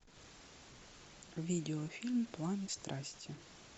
видеофильм планы страсти